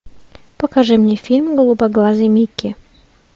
покажи мне фильм голубоглазый микки